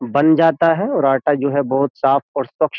बन जाता है और आटा जो है बहुत साफ और स्वक्ष --